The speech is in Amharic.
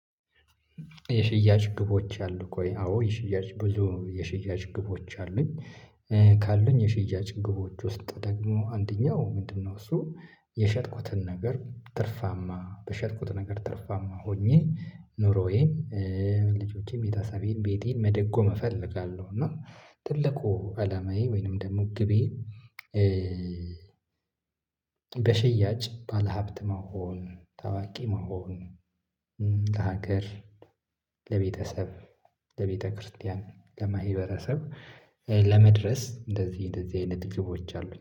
የሽያጭ ግቦች አሉክ ወይ? አዎ የሽያጭ ብዙ የሽያጭ ግቦች አሉኝ። ካሉኝ የሽያጭ ግቦች ውስጥ ደግሞ አንደኛው ምንድነው? እሱ የሸጥኩትን ነገር ትርፋማ በሸጥኩት ነገር ትርፋማ ሆኜ ኖሮዬን ልጆቼን ቤተሰቤን ቤቴን መደጎም እፈለጋለው እና ትልቁ አላማዬ ወይንም ደግሞ ግቤ። በሽያጭ ባለሀብት መሆን ታዋቂ መሆን ለሀገር ለቤተሰብ ለቤተክርስቲያን ለማህበረሰብ ለመድረስ እንደዚህ እንደዚህ አይነት ግቦች አሉኝ